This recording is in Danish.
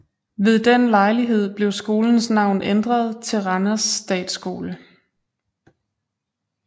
Ved den lejlighed blev skolens navn ændret til Randers Statskole